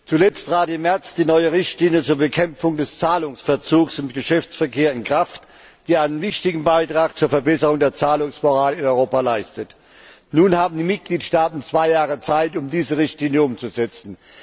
Zuletzt trat im März die neue Richtlinie zur Bekämpfung des Zahlungsverzugs im Geschäftsverkehr in Kraft, die einen wichtigen Beitrag zur Verbesserung der Zahlungsmoral in Europa leistet. Nun haben die Mitgliedstaaten zwei Jahre Zeit, um diese Richtlinie umzusetzen.